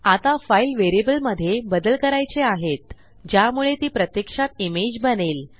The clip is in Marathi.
आता फाईल व्हेरिएबलमधे बदल करायचे आहेत ज्यामुळे ती प्रत्यक्षात इमेज बनेल